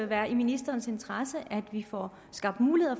være i ministerens interesse at vi får skabt muligheder